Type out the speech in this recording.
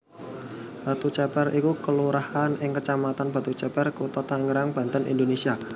Batuceper iku kelurahan ing kecamatan Batuceper Kutha Tangerang Banten Indonésia